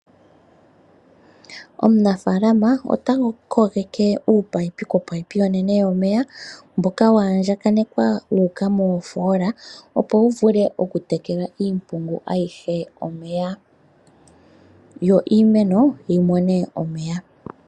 Omunafaalama ota kogeke uupayipi kopayipi onene yomeya mboka wa andjakanekwa wuuka moofoola opo wu vule oku tekela iimpungu ayihe omeya. Yo iimeno yimone omeya.